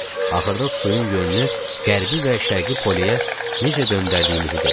Axırda suyun yönünü qərbi və şərqi poleyə necə döndərdiyimizi dedi.